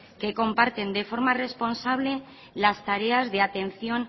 que comparten de forma responsable las tareas de atención